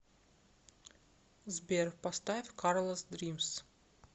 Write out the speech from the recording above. сбер поставь карлас дримс